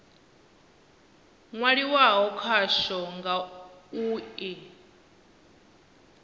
nwaliwaho khakwo nga u i